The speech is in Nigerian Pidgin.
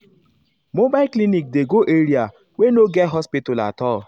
mobile ah clinic dey go area wey no get hospital at all.